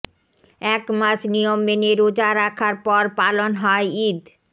একমাস নিয়ম মেনে রোজা রাখার পর পালন হয় ঈদ